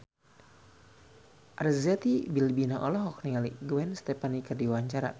Arzetti Bilbina olohok ningali Gwen Stefani keur diwawancara